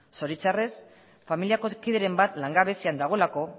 zoritxarrez familiako kideren bat langabezian dagoelako